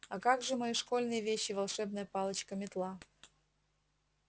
а как же мои школьные вещи волшебная палочка метла